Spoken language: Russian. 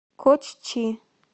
коччи